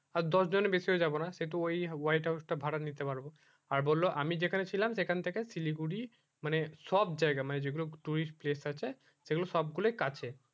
আর দশ জনের বেশিও যাবো না সেই তো ওই white house টা ভাড়া নিতে পারবো আর বললো আমি যেখানে ছিলাম সেখান থেকে শিলিগুড়ি মানে সব জায়গা মানে যে গুলো tourist place আছে সেই গুলো সব গুলোই কাছে